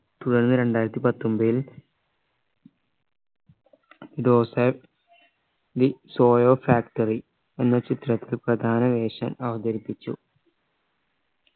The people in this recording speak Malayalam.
തുടർന്ന് രണ്ടായിരത്തി പത്തൊമ്പതിൽ the soyo factory എന്ന ചിത്രത്തിൽ പ്രധാന വേഷം അവതരിപ്പിച്ചു